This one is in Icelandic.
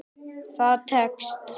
Það tekst.